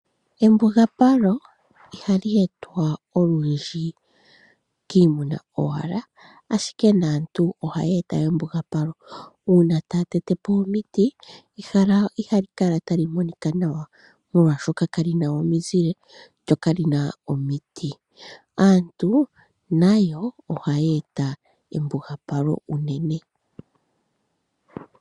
Embugapalo ihali e twa olundji kiimuna owala ashike naantu ohaya eta embugapalo uuna taya tete po omiti. Ehala ihali kala tali monika nawa molwaashoka kali na omizile lyokali na omiti. Aantu nayo ohaya e ta embugapalo unene.